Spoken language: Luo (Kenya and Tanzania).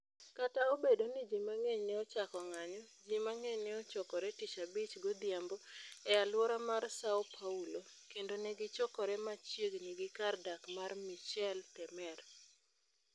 Kata obedo ni ji mang'eny ne ochako ng'anyo, ji mang'eny ne ochokore Tich Abich godhiambo e alwora mar Săo Paulo, kendo ne gichokore machiegni gi kar dak mar Michel Temer.